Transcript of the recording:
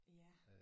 Ja